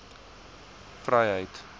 vryheid